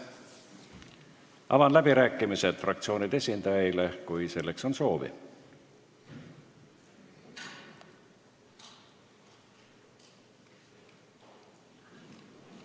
Avan läbirääkimised fraktsioonide esindajaile, kui selleks on soovi.